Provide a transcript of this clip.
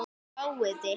Fáið ykkur.